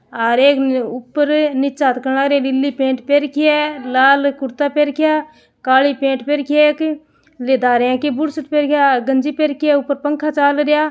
हेर एक न उपरे नीचे हाथ करन लाग रिया नीली पैन्ट पहर रखी है लाल कुर्ता पहर रख्या काली पैन्ट पहर रखी है एक ले धारया की बुसेट पहर के आ गंजी पहर रखी है ऊपर पंखा चाल रया।